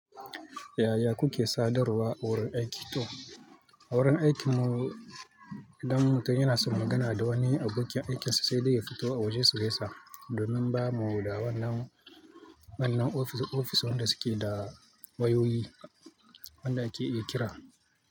Yaya kuke sadarwa a wurin aiki to? A wurin aikinmu, idan mutum yana son magana da wani abokin aikinsa sai dai ya fito a waje sugaisa domin ba mu da wannan, wannan ofis, ofis wanda suke da wayoyi wanda ake iya kira.